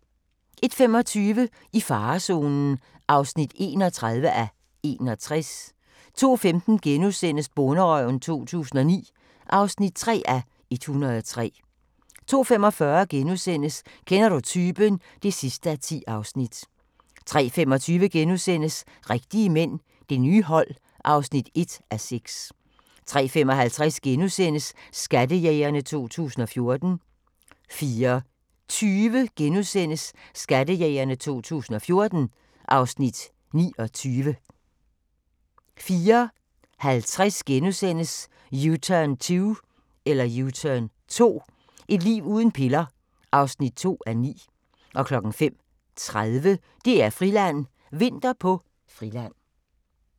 01:25: I farezonen (31:61) 02:15: Bonderøven 2009 (3:103)* 02:45: Kender du typen? (10:10)* 03:25: Rigtige mænd – Det nye hold (1:6)* 03:55: Skattejægerne 2014 * 04:20: Skattejægerne 2014 (Afs. 29)* 04:50: U-turn 2 – et liv uden piller (2:9)* 05:30: DR-Friland: Vinter på Friland